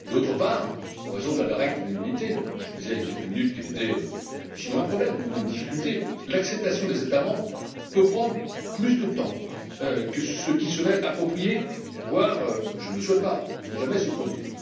D'autre part, en raison de la règle de l'unanimité dont je disais il y a quelques minutes qu'elle était sinon un problème, du moins une difficulté l'acceptation des États membres peut prendre plus de temps que ce qui serait approprié, voire je ne le souhaite pas ne jamais se produire.